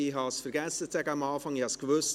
Ich habe es am Anfang zu sagen vergessen: